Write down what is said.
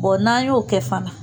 n'an y'o kɛ fana.